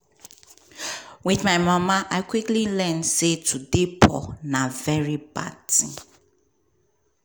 wit my mama i quickly learn say to dey poor na very bad tin.